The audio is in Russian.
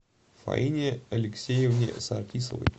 фаине алексеевне саркисовой